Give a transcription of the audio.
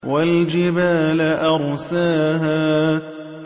وَالْجِبَالَ أَرْسَاهَا